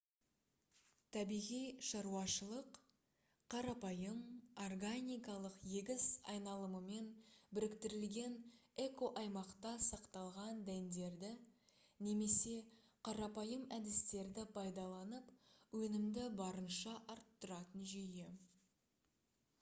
табиғи шаруашылық қарапайым органикалық егіс айналымымен біріктірілген экоаймақта сақталған дәндерді немесе қарапайым әдістерді пайдаланып өнімді барынша арттыратын жүйе